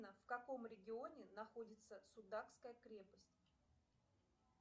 в каком регионе находится судакская крепость